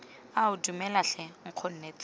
ao dumela tlhe nkgonne tsena